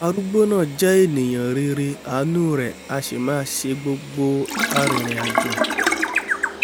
arúgbó náà jẹ́ ènìà rere àánú rẹ̀ a sì máa ṣe gbogbo arìnrìnàjò